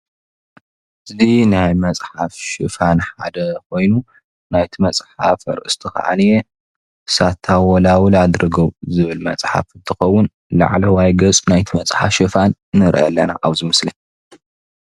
እዚ ናይ መፅሓፍ ሽፋን ሓደ ኮይኑ ናይቲ መፅሓፍ ኣርእስቱ ክዓኒ ሳታወላዉል ኣድርገው ዝብል መፅሓፍ እንትኸዉን ላዕለዋይ ገፅ ናይቲ መፅሓፍ ሽፋን ንርኢ ኣለና ኣብዚ ምስሊ።